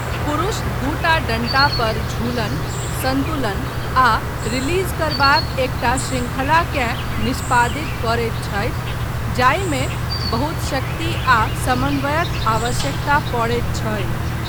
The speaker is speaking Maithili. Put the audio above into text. पुरुष दूटा डण्टा पर झूलन, सन्तुलन आ रिलीज करबाक एकटा शृंखलाकेँ निष्पादित करैत छथि जाहिमे बहुत शक्ति आ समन्वयक आवश्यकता पड़ैत छै।